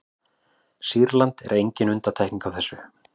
sýrland er engin undantekning á þessu